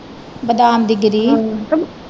ਬਦਾਮ ਦੀ ਗਿਰੀ